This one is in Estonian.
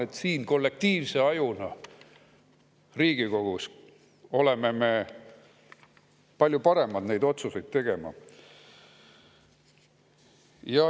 Ma arvan, et siin Riigikogus oleme me kollektiivse ajuna palju paremad neid otsuseid tegema.